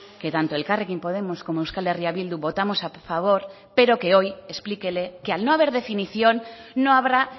que tanto elkarrekin podemos como euskal herria bildu votamos a favor pero que hoy explíquele que al no haber definición no habrá